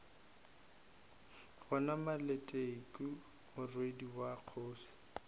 yona maleteku morwedi wa kgoši